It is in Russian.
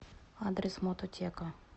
адрес мототека